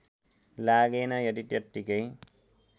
लागेन यदि त्यतिकै